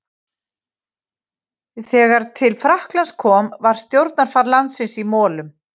Þegar til Frakklands kom var stjórnarfar landsins í molum.